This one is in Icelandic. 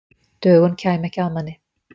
Dögun kæmi ekki að manni.